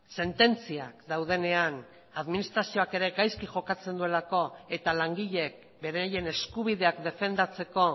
sententziak daudenean administrazioak ere gaizki jokatzen duela eta langileek beraien eskubideak defendatzeko